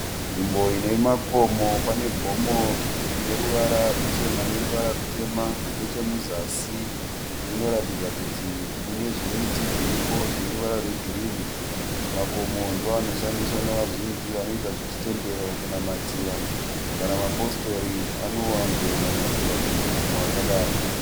Nzvimbo ine makomo. Pane gomo rine ruvara ruchena neruvara rutema nechemuzasi munoratidza kuti mune zvimiti zviripo zvine ruvara rwegirinhi. Makomo ndoanoshandiswa nezhinji vanoita zvechitendero kunamatira kana mapositori anowanzo namatira pamakomo akadai.